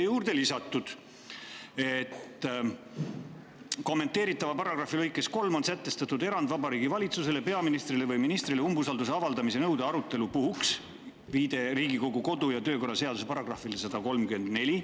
Juurde oli lisatud, et kommenteeritava paragrahvi lõikes 3 on sätestatud erand Vabariigi Valitsusele, peaministrile või ministrile umbusalduse avaldamise nõude arutelu puhuks, ning viide Riigikogu kodu‑ ja töökorra seaduse §‑le 134.